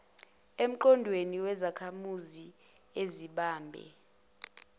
emqondweni wezakhamuzi ezibambe